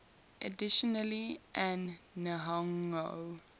additionally an nihongo